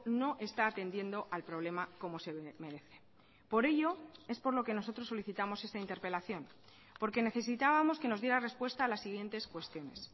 no está atendiendo al problema como se merece por ello es por lo que nosotros solicitamos esta interpelación porque necesitábamos que nos diera respuesta a las siguientes cuestiones